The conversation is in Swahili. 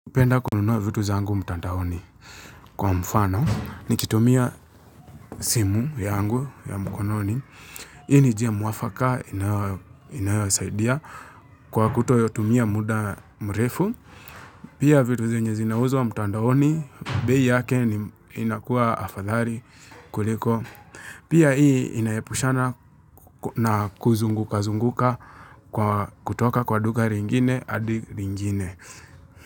Kupenda kununua vitu zangu mtandaoni kwa mfano nikitumia simu yangu ya mkononi. Hii ni njia mwafaka inayo inayosaidia kwa kutotumia muda mrefu. Pia vitu zenye zinauzwa mtandaoni, bei yake inakuwa afadhali kuliko. Pia hii inaepushana na kuzunguka-zunguka kwa kutoka kwa duka ringine adi ringine.